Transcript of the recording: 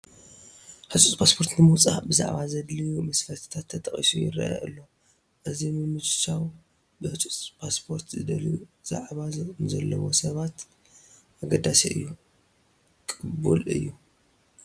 ህፁፅ ፓስፖርት ንምውፃእ ብዛዕባ ዘድልዩ መስፈርትታት ተጠቒሱ ይርአ ኣሎ፡፡ እዚ ምምችቻው ብህፁፅ ፓስፖርት ዘድልዮ ዛዕባ ንዘለዎ ሰባት ኣገዳሲ እዩ፡፡ ቅቡል እዩ፡፡